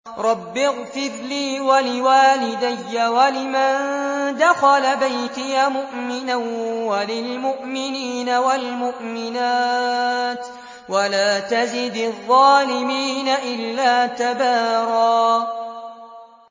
رَّبِّ اغْفِرْ لِي وَلِوَالِدَيَّ وَلِمَن دَخَلَ بَيْتِيَ مُؤْمِنًا وَلِلْمُؤْمِنِينَ وَالْمُؤْمِنَاتِ وَلَا تَزِدِ الظَّالِمِينَ إِلَّا تَبَارًا